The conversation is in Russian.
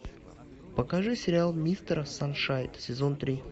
покажи сериал мистер саншайн сезон три